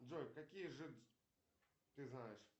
джой какие ты знаешь